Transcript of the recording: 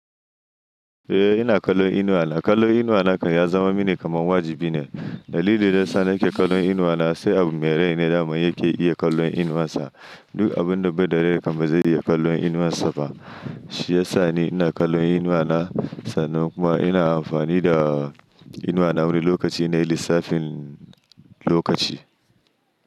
Eh, ina kallon inuwa na. Kallon inuwa na kan ya zama mini kamar wajibi ne. Dalilin da yasa nake kallon inuwa na sai abu mai rai ne daman yake iya kallon inuwan sa. Duk abun da bai da rai ba zai iya kallon inuwan sa ba. Shi ya sa ni ina kallon inuwa na. Sannan kuma ina amfani da inuwa na wani lokaci na lissafin lokaci.